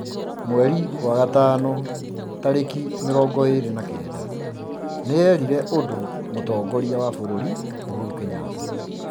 Mĩĩ tarĩki mĩrongo ĩrĩ na kenda, nĩ erire ũndũ Mũtongoria wa bũrũri Uhuru Kenyatta,